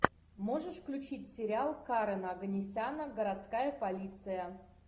можешь включить сериал карена оганесяна городская полиция